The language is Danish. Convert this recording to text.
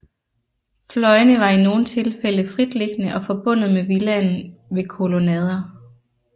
Fløjene var i nogle tilfælde fritliggende og forbundet med villaen ved kolonnader